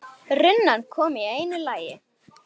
Runan kom í einu lagi.